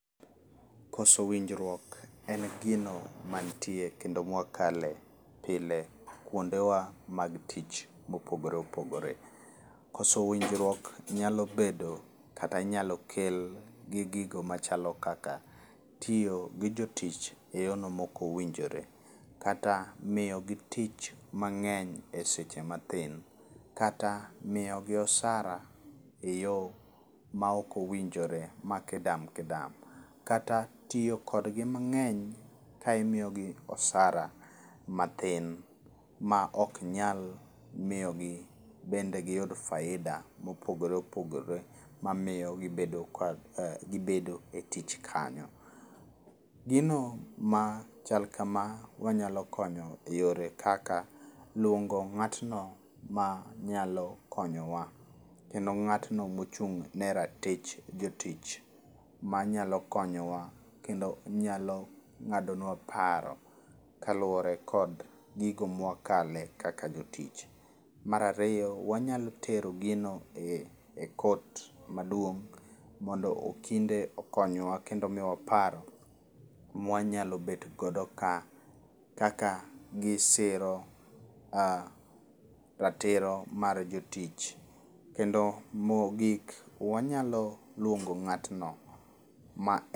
Koso winjruok en gino mantie kendo mwakale pile kuondewa mag tich mopogore opogore. Koso winjruok nyalo bedo kata inyalo kel gi gigo machalo kaka tiyo gi jo tich eyorno maok owinjore, kata miyogi tich mang'eny seche matin, kata miyogi osara eyo maok owinjore. Ma kidam kidam, kata tiyo kodgi mang'eny kae imiyogi osara mathin maok nyal miyogi bende giyud faida mopogore opogore mamiyo gibedo ka ah gibedo e tich kanyo. Gino ma chal kama wanyalo konyo eyore kaka luongo ng'atno manyalo konyowa, kendo ng'atno mochung' ne ratich jotich, manyalo konyowa kendo nyalo ng'adonua paro kaluwore kod gigo mwakale kaka jotich. Mar ariyo, wanyalo tero gino e court maduong' mondo okinde okonywa kendo miyowa paro mwanyalo bet godo ka kaka gisiro ah ratiro mar jotich. Kendo mogik wanyalo luongo ng'atno ma